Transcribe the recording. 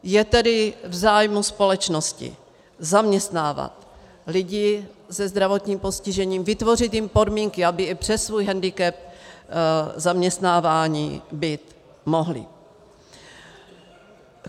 Je tedy v zájmu společnosti zaměstnávat lidi se zdravotním postižením, vytvořit jim podmínky, aby i přes svůj hendikep zaměstnáváni být mohli.